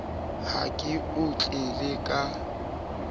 ha ke o tlele ka